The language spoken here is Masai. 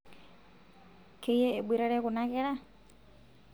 keyie eboitare kuna kera?